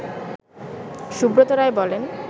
সুব্রত রায় বলেন